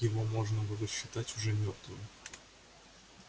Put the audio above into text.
его можно было считать уже мёртвым